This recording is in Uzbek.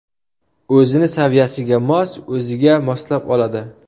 O‘zini saviyasiga mos, o‘ziga moslab oladi.